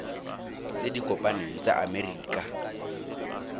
tse di kopaneng tsa amerika